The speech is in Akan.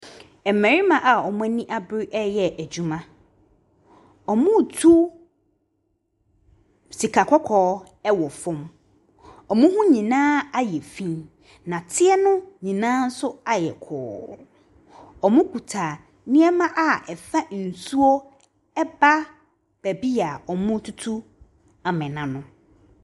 Mmarima a wɔn ani abere reyɛ adwuma. Wɔretu sika kɔkɔɔ wɔ fam. Wɔn ho nyinaa ayɛ fi, nnɛteɛ no nyinaa nso ayɛ kɔɔ. Wɔkuta nneɛma a ɛfa nsuo ɛba baabi a wɔretutu amena no.